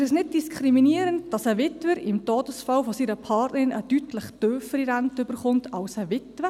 Ist es nicht diskriminierend, dass ein Witwer im Todesfall seiner Partnerin eine deutlich tiefere Rente erhält als eine Witwe?